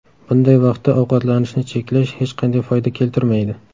Bunday vaqtda ovqatlanishni cheklash hech qanday foyda keltirmaydi.